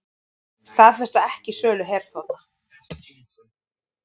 Staðfesta ekki sölu herþotna